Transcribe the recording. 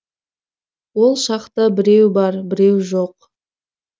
ол шақта біреу бар біреу жоқ